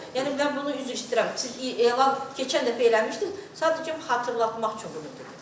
Yəni mən bunu, üzr istəyirəm, siz elan keçən dəfə eləmişdiniz, sadəcə xatırlatmaq üçün bunu deyirəm.